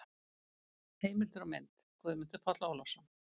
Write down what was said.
Heimildir og mynd: Guðmundur Páll Ólafsson.